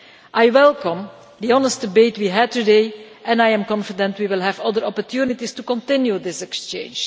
I welcome the honest debate we had today and I am confident that we will have other opportunities to continue this exchange.